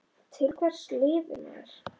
Til hvers lifir maður?